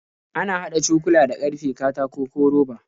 Ana haɗa cokula da ƙarfe, katako, ko roba.